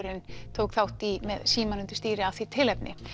tók þátt í með símann undir stýri af því tilefni